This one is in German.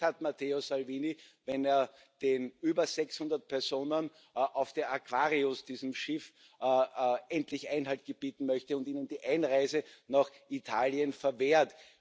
Und Recht hat Matteo Salvini, wenn er den über 600 Personen auf der Aquarius, diesem Schiff, endlich Einhalt gebieten möchte und ihnen die Einreise nach Italien verwehrt.